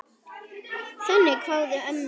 Þannig kváðu ömmur.